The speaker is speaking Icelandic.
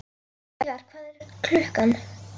Heiðar, hvað er klukkan?